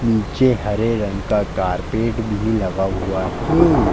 नीचे हरे रंग का कारपेट भी लगा हुआ हे।